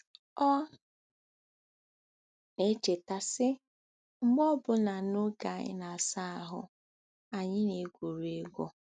Ọ na-echeta, sị: “mgbe obụna n'oge anyị na-asa ahụ́, anyị na-egwuri egwu.